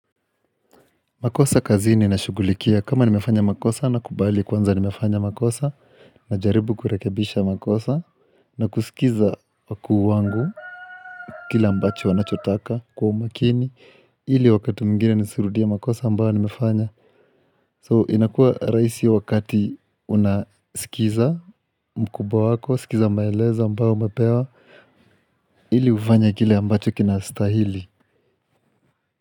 Makosa kazini nashugulikia kama nimefanya makosa nakubali kwanza nimefanya makosa Najaribu kurekebisha makosa na kusikiza wakuu wangu kile ambacho wanachotaka kwa umakini ili wakati mwingine nisirudie makosa ambao nimefanya So inakuwa rahisi wakati unasikiza mkubwa wako, sikiza maelezo ambao umepewa ili ufanye kile ambacho kinastahili.